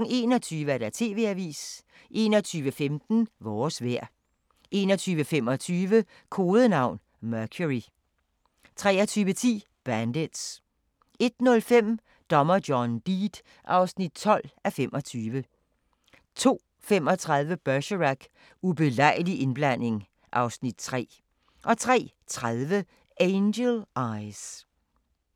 21:00: TV-avisen 21:15: Vores vejr 21:25: Kodenavn: Mercury 23:10: Bandits 01:05: Dommer John Deed (12:25) 02:35: Bergerac: Ubelejlig indblanding (Afs. 3) 03:30: Angel Eyes